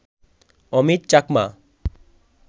Amit Chakma